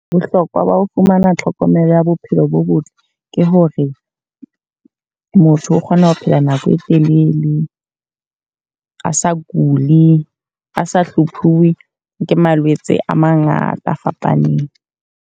Bohlokwa ba ho fumana tlhokomelo ya bophelo bo botle. Ke hore motho o kgona ho phela nako e telele a sa kuli. A sa hlomphuwe ke malwetse a mangata a fapaneng.